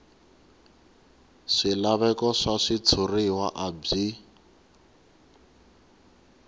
swilaveko swa switshuriwa a byi